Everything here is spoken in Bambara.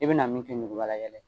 I bina min kɛ ɲugubalayɛlɛ ye